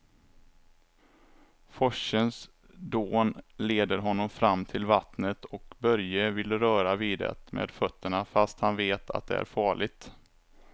Forsens dån leder honom fram till vattnet och Börje vill röra vid det med fötterna, fast han vet att det är farligt.